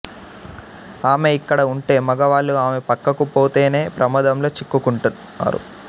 ఆమె ఇక్కడ ఉంటే మగవాళ్ళు ఆమె పక్కకు పోతేనే ప్రమాదంలో చిక్కు కుంటున్నారు